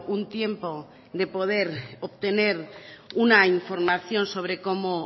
un tiempo de poder obtener una información sobre cómo